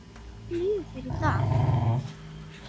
Hvernig líður þér í dag?